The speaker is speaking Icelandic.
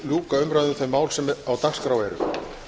ljúka umræðu um þau mál sem á dagskrá eru